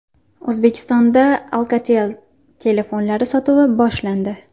O‘zbekistonda Alcatel telefonlari sotuvi boshlandi.